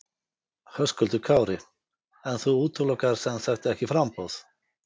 Höskuldur Kári: En þú útilokar sem sagt ekki framboð?